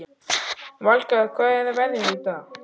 Valgarð, hvernig er veðrið í dag?